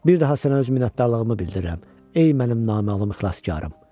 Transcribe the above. Bir daha sənə öz minnətdarlığımı bildirirəm, ey mənim naməlum ixlaskarım.